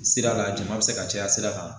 Sira a la jama bɛ se ka caya sira kan